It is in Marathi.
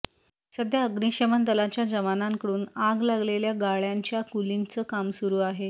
सध्या अग्निशमन दलाच्या जवानांकडून आग लागलेल्या गाळ्यांच्या कूलिंगचं काम सुरु आहे